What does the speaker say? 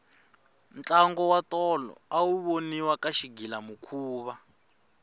ntlango wa tolo awu voniwa ka xigilamikhuva